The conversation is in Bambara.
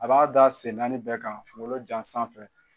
A b'a da sen naani bɛɛ kan kungolo jan sanfɛ.